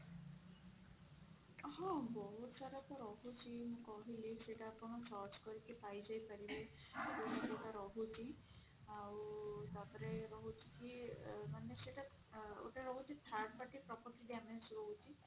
ହଁ ବହୁତ ସାରା ତ ରହୁଛି କହିଲି ସେଇଟା ଆପଣ search କରିକି ପାଇଯାଇପାରିବେ ଯଉଟା ରହୁଛି ଆଉ ତାପରେ ରହୁଛି କି ମାନେ ସେଇଟା ଗୋଟେ ରହୁଛି third party property damage ରହୁଛି